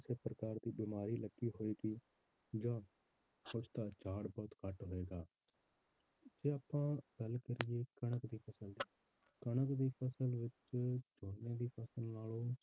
ਕਿਸੇ ਪ੍ਰਕਾਰ ਦੀ ਬਿਮਾਰੀ ਲੱਗੀ ਹੋਏਗੀ ਜਾਂ ਉਸਦਾ ਝਾੜ ਬਹੁਤ ਘੱਟ ਹੋਏਗਾ ਜੇ ਆਪਾਂ ਗੱਲ ਕਰੀਏ ਕਣਕ ਦੀ ਫਸਲ ਦੀ ਕਣਕ ਦੀ ਫਸਲ ਵਿੱਚ ਝੋਨੇ ਦੀ ਫਸਲ ਨਾਲੋਂ